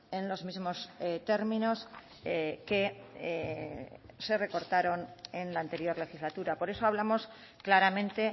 en los mismos términos que se recortaron en la anterior legislatura por eso hablamos claramente